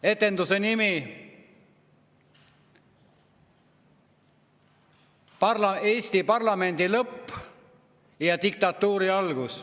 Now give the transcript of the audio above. Etenduse nimi: "Eesti parlamendi lõpp ja diktatuuri algus".